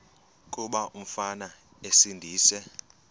kuba umfana esindise